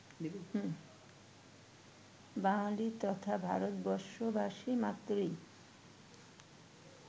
বাঙালি তথা ভারতবর্ষবাসী মাত্রেরই